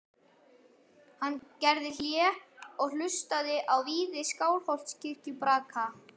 Hann gerði hlé og hlustaði á viði Skálholtskirkju braka.